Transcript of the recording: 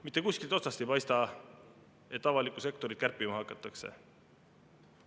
Mitte kuskilt otsast ei paista, et avalikku sektorit kärpima hakatakse.